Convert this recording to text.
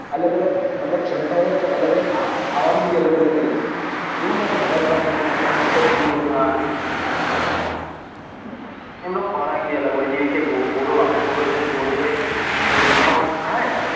અલગ અલગ મતલબ ક્ષમતા હોય તો અલગ અલગ ખા ખાવાનું ભી અલગ અલગ જ હશે એવું નાઈ કે બધા જ પ્રાણીઓ એક જ જેવું હોય તે હા એમનો ખોરાબ ભી અલગ હોય દિવસે ઘોડો વાગોળે ઘોડો કઈ ખોં ખાય